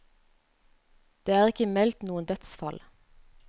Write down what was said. Det er ikke meldt noen dødsfall.